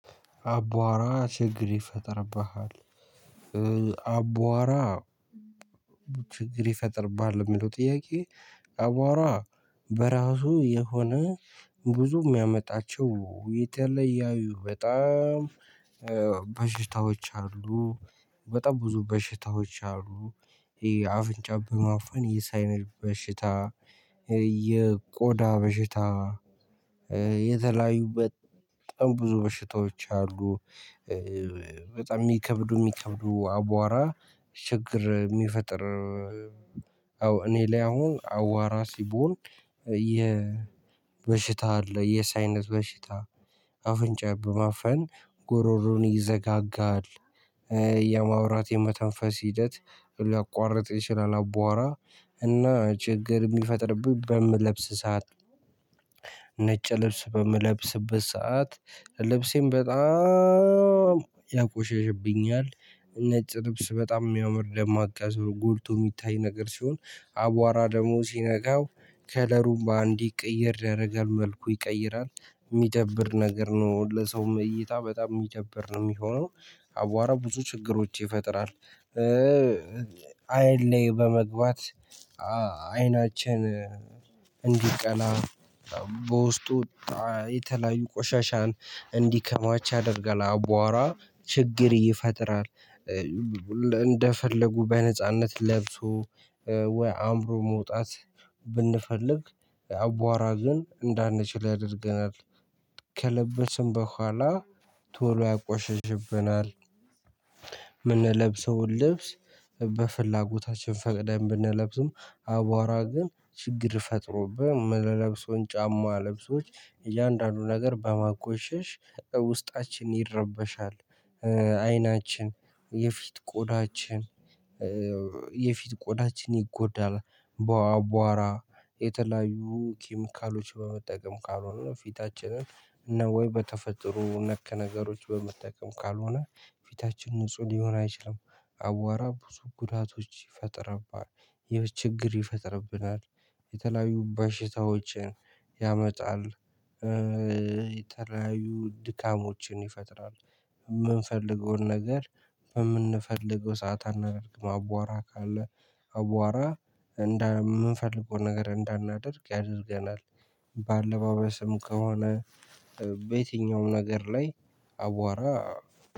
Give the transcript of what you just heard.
አቧራ ችግር ይፈጥርብሃል አቧራ ችግር ይፈጥርብሃል የሚለው ጥያቄ? አቧራ በራሱ የሆነ ብዙ የሚያመጣቸው የተለያዩ በጣም በሽታዎች አሉ። በጣም ብዙ በሽታዎች አሉ። የአፍንጫ ማፈን የሳይነስ በሽታ የቆዳ በሽታ። የተለያዩ በጣም ብዙ በሽታዎች አሉ። በጣም ሚከብዱ ሚከብዱ አቧራ ችግር ሚፈጥር። እኔ ላይ አሁን አዋራ ሲቦን የበሽታ አለ የሳይነት በሽታ አፍንጫ በማፈን ጉሮሮን ይዘጋጋል። የማውራት የመተንፈስ ሂደት ሊያቋርጥ ይችላል። አቧራ እና ችግር የሚፈጥርብኝ በምለብስ ሰዓት። ነጭ ልብስ በምለብስበት ሰዓት ልብሴን በጣም ያቆሽሽብኛል። ነጭ ልብስ በጣም የሚያምር ደማቅ ያዘው ጎልቶ የሚታይ ነገር ሲሆን አቧራ ደግሞ ሲነካው ከለሩም በአንዴ ቅይር ያደርጋል መልኩ ይቀይራል የሚደብር ነገር ነው ለሰውም እይታ በጣም የሚደብር ነው የሚሆነው። አቧራ ብዙ ችግሮች ይፈጥራል። አይን ላይ በመግባት አይናችን እንዲቀላ በውስጡ የተለያዩ ቆሻሻን እንዲከማች ያደርጋል። አቧራ ችግር ይፈጥራል። እንደፈለጉ በነጻነት ለብሶ ወይ አምሮ መውጣት ብንፈልግ አቧራ ግን እንዳንችል ያደርገናል ከለበስን በኋላ ቶሎ ያቆሽሽብናል። ምንለብሰውን ልብስ በፍላጎታችን ፈቅደን ብንለብስም አቧራ ግን ችግር ፈጥሮብን ለብሶን ጫማ ለብሶች እያንዳንዱ ነገር በማቆሸሽ ውስጣችን ይረበሻል። አይናችን የፊት ቆዳችን የፊት ቆዳችን ይጎዳል። በአቧራ የተለያዩ ኪሚካሎች በመጠቀም ካልሆነ ፊታችንን እና ወይ በተፈጥሮ ነክ ነገሮች በመጠቀም ካልሆነ ፊታችን ንጹህ ሊሆን አይችልም። አቧራ ብዙ ጉዳቶች ይፈጥርብናል። ችግር ይፈጥርብናል የተለያዩ በሽታዎችን ያመጣል። የተለያዩ ድካሞችን ይፈጥራል። የምንፈልገውን ነገር በምንፈልገው ሰዓት አናደርግም አቧራ ካለ አቧራ እንደምንፈልገው ነገር እንዳናደርግ ያደርገናል። በአለባበስም ከሆነ በየትኛውም ነገር ላይ አቧራ